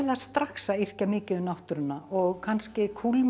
strax að yrkja mikið um náttúruna og kannski